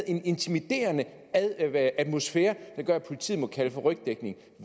en intimiderende atmosfære der gør at politiet må kalde på rygdækning